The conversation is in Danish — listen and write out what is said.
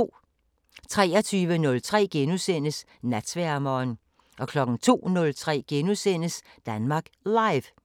23:03: Natsværmeren * 02:03: Danmark Live *